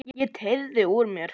Ég teygði úr mér.